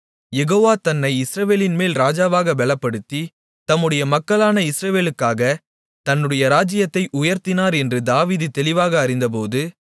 யெகோவா தன்னை இஸ்ரவேலின்மேல் ராஜாவாகப் பெலப்படுத்தி தம்முடைய மக்களான இஸ்ரவேலுக்காக தன்னுடைய ராஜ்ஜியத்தை உயர்த்தினார் என்று தாவீது தெளிவாக அறிந்தபோது